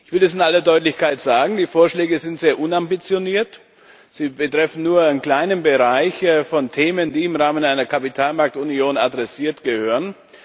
Ich will das in aller Deutlichkeit sagen Die Vorschläge sind sehr unambitioniert, sie betreffen nur einen kleinen Bereich von Themen, die im Rahmen einer Kapitalmarktunion adressiert gehören.